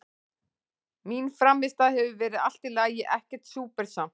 Mín frammistaða hefur verið allt í lagi, ekkert súper samt.